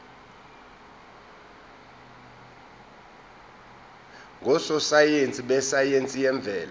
ngososayense besayense yemvelo